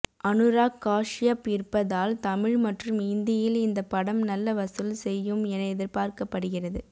அனுராக் காஷ்யப் இருப்பதால் தமிழ் மற்றும் இந்தியில் இந்த படம் நல்ல வசூல் செய்யும் என எதிர்பார்க்கப்படுகிறது